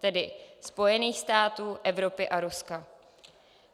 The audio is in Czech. Tedy Spojených států, Evropy a Ruska.